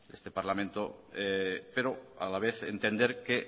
de este parlamento pero a la vez entender que